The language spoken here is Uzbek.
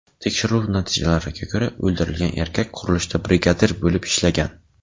Tekshiruv natijalariga ko‘ra o‘ldirilgan erkak qurilishda brigadir bo‘lib ishlagan.